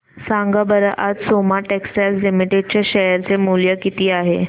सांगा बरं आज सोमा टेक्सटाइल लिमिटेड चे शेअर चे मूल्य किती आहे